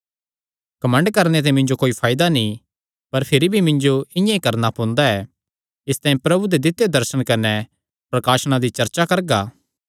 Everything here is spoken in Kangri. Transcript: घमंड करणे ते मिन्जो कोई फायदा नीं भिरी भी मिन्जो इआं करणा पोंदा ऐ इसतांई मैं प्रभु दे दित्यो दर्शना कने प्रकाशणा दी चर्चा करगा